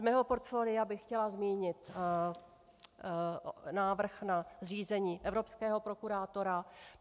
Ze svého portfolia bych chtěla zmínit návrh na řízení evropského prokurátora.